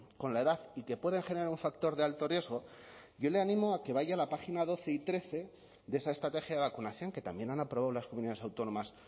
con la edad y que pueden generar un factor de alto riesgo yo le animo a que vaya a la página doce y trece de esa estrategia de vacunación que también han aprobado las comunidades autónomas